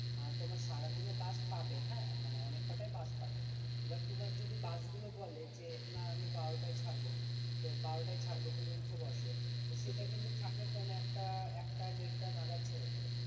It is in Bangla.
আহ তোমার সারাদিনে বাস পাবে হ্যাঁ মানে অনেক কটাই বাস পাবে এবার তোমার যদি বাস গুলো বলে যে না আমি বারোটাই ছাড়বো তো বারোটায় ছাড়বো তুমি উঠে বসো সেটা কিন্তু ছাড়বে পনে এক টা এক টা দেড়টা নাগাত ছেড়ে দেবে